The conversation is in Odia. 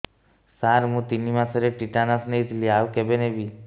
ସାର ମୁ ତିନି ମାସରେ ଟିଟାନସ ନେଇଥିଲି ଆଉ କେବେ ନେବି